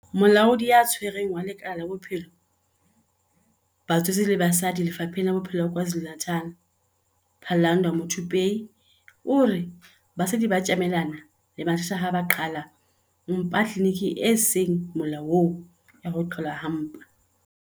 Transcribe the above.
Molaodi ya Tshwaretseng wa lekala la Bophelo ba Batswetse le Basadi Lefapheng la Bophelo la KwaZulu-Natal, Phalanndwa Muthupei, o re basadi ba ka tjamelana le mathata ha ba qhala mpa tliliniking e seng molaong ya ho qhalwa ha mpa.